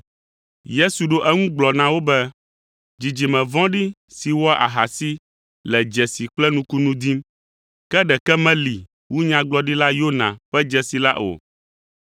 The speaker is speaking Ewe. Yesu ɖo eŋu gblɔ na wo be, “Dzidzime vɔ̃ɖi si wɔa ahasi le dzesi kple nukunu dim. Ke ɖeke meli wu Nyagblɔɖila Yona ƒe dzesi la o,